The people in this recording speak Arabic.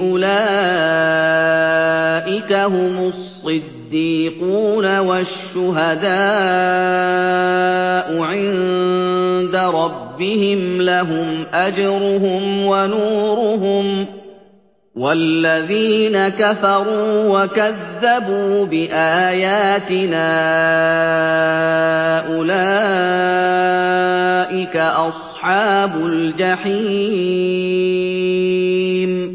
أُولَٰئِكَ هُمُ الصِّدِّيقُونَ ۖ وَالشُّهَدَاءُ عِندَ رَبِّهِمْ لَهُمْ أَجْرُهُمْ وَنُورُهُمْ ۖ وَالَّذِينَ كَفَرُوا وَكَذَّبُوا بِآيَاتِنَا أُولَٰئِكَ أَصْحَابُ الْجَحِيمِ